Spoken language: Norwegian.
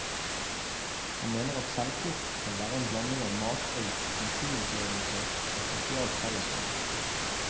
Han mener at selvplukk skal være en blanding av matauk, naturopplevelse og sosialt fellesskap.